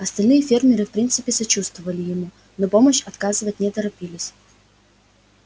остальные фермеры в принципе сочувствовали ему но помощь оказывать не торопились